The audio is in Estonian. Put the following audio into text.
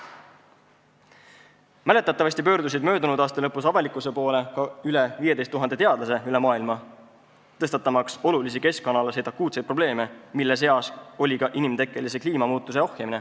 Mäletatavasti pöördusid möödunud aasta lõpus avalikkuse poole üle 15 000 teadlase üle maailma, tõstatamaks olulisi akuutseid keskkonnaprobleeme, mille seas oli ka vajadus ohjeldada inimtekkelist kliimamuutust.